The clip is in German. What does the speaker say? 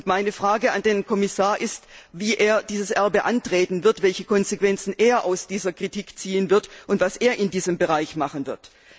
Meine Frage an den Herrn Kommissar ist, wie er dieses Erbe antreten wird, welche Konsequenzen er aus dieser Kritik ziehen wird und was er in diesem Bereich machen wird.